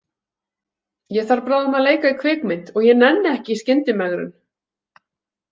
Ég þarf bráðum að leika í kvikmynd og ég nenni ekki í skyndimegrun.